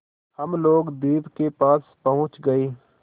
हम लोग द्वीप के पास पहुँच गए